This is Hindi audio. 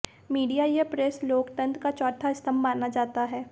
मीडिया या प्रेस लोकतंत्र का चौथा स्तंभ माना जाता है